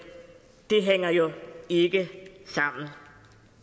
det hænger jo ikke sammen